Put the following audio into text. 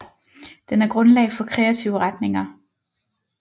Den er grundlag for kreative retninger